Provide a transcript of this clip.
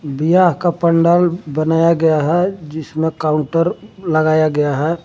व्याह का पंडाल बनाया गया है जिसमें काउंटर लगाया गया है।